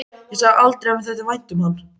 Ég sagði aldrei að mér þætti vænt um hann.